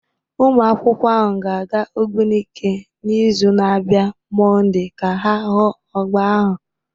Ụmụakwụkwọ ahụ ga-aga Ogbunike n'izu na-abịa Monday ka ha hụ ọgba ahụ